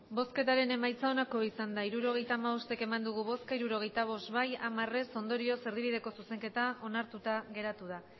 emandako botoak hirurogeita hamabost bai hirurogeita bost ez hamar ondorioz erdibideko zuzenketa onartuta geratu da